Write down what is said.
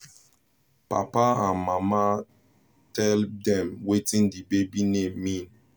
mama and papa tell dem wetin the baby name mean